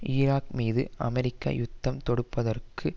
Iraq மீது America யுத்தம் தொடுப்பதற்கு